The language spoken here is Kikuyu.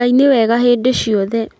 Ngai nĩ mwega hĩndĩ ciothe